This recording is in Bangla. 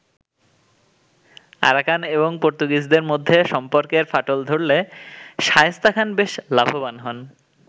আরাকান এবং পর্তুগিজদের মধ্যে সম্পর্কের ফাটল ধরলে শায়েস্তা খান বেশ লাভবান হন।